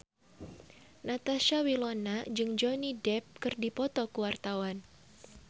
Natasha Wilona jeung Johnny Depp keur dipoto ku wartawan